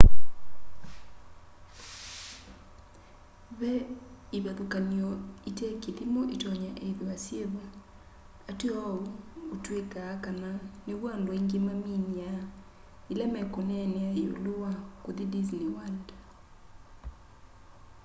ve ivathukany'o itekithimo itonya ithwa syivo ateo uu utwikaa kana niw'o andu aingi maminiaa ila mekuneenea yiulu wa kuthi disney world